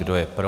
Kdo je pro?